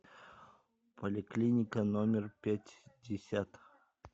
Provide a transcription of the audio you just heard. поликлиника номер пятьдесят